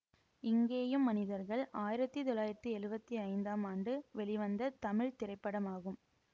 இங்கேயும் மனிதர்கள் ஆயிரத்தி தொள்ளாயிரத்தி எழுவத்தி ஐந்தாம் ஆண்டு வெளிவந்த தமிழ் திரைப்படமாகும்